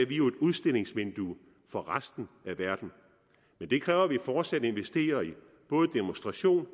jo et udstillingsvindue for resten af verden men det kræver at vi fortsat investerer i både demonstration